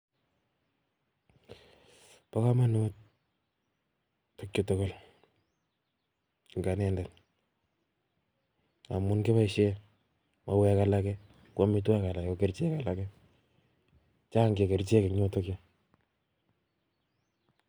Bo komonut tuguchu tugul en anendet, amun kiboishien mauek alake, ko amitwogiik alake ko kerichek alakee, chang che kerichek en yuton yu,